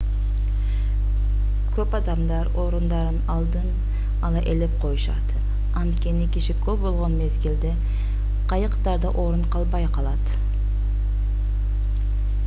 көп адамдар орундарын алдын-ала ээлеп коюшат анткени киши көп болгон мезгилде кайыктарда орун калбай калат